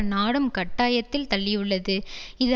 நாடும் கட்டாயத்தில் தள்ளியுள்ளது இது